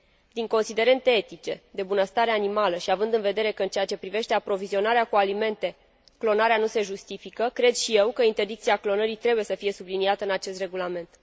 Din considerente etice, de bunăstare animală și având în vedere că în ceea ce privește aprovizionarea cu alimente clonarea nu se justifică, cred și eu că interdicția clonării trebuie să fie subliniată în acest regulament.